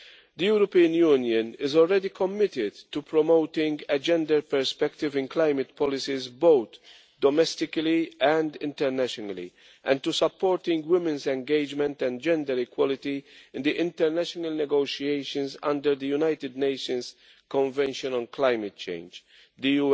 The European Union is already committed to promoting a gender perspective in climate policies, both domestically and internationally, and to supporting women's engagement and gender equality in the international negotiations under the United Nations Convention on Climate Change The